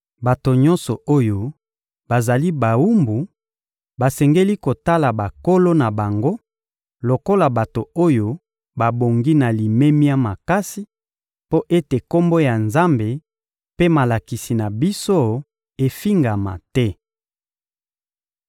Bato nyonso oyo bazali bawumbu basengeli kotala bankolo na bango lokola bato oyo babongi na limemia makasi, mpo ete Kombo ya Nzambe mpe malakisi na biso efingama te.